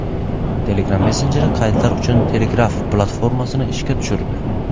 Telegram messenjeri qaydlar uchun Telegraph platformasini ishga tushirdi.